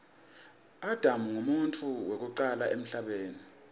adam nqumuntfu wekucala emhlabeni